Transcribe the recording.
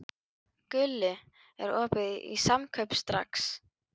Gulli, er opið í Samkaup Strax?